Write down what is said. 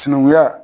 Sinankunya